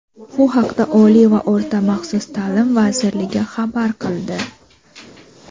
Bu haqda Oliy va o‘rta maxsus ta’lim vazirligi xabar qildi.